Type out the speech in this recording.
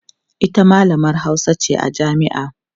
ita mallamar Hausa ce a jami'a